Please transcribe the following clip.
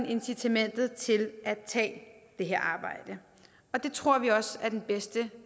incitamentet til at tage det her arbejde og det tror vi også er den bedste